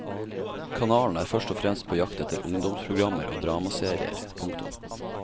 Kanalen er først og fremst på jakt etter ungdomsprogrammer og dramaserier. punktum